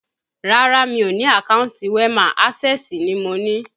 Rárá, mi ò ní àkántì WEMA, ásẹ̀sì ni mo ni